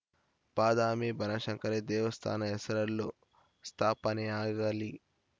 ಬಾದಾಮಿ ಬನಶಂಕರಿ ದೇವಸ್ಥಾನ ಹೆಸರಲ್ಲೂ ಸ್ಥಾಪನೆಯಾಗಲಿ